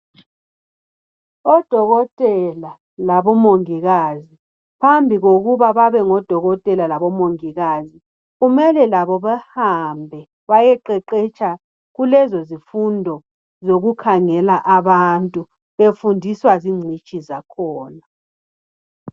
Odokotela labomungikazi, phambi khokuba babe ngodokotela labomungikazi, kumele labo behambe bayeqeqetsha kulezo zifundo zokukhangela abantu befundiswa zigcitshi zakhona.